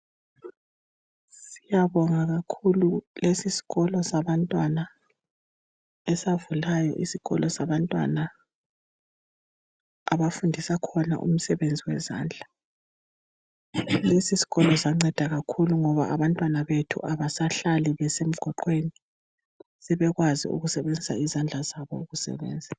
Siyabonga kakhulu lesisikolo sabantwana esavulayo, isikolo sabantwana abafundisa khona imisebenzi yezandla, lesisikolo sanceda kakhulu ngoba abantwana bethu abasahlali emgwaqweni sebekwazi ukusebenzisa izandla ukusebenza.